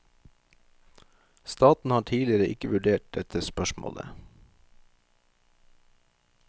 Staten har tidligere ikke vurdert dette spørsmålet.